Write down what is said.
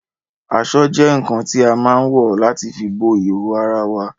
Aṣọ́ jẹ́ ǹǹkan tí a má ǹ wọ̀ láti fi bo ìhòòhò ara wae